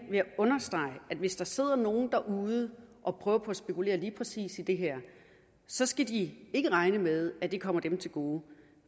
understrege at hvis der sidder nogen derude og prøver på at spekulere i lige præcis det her så skal de ikke regne med at det kommer dem til gode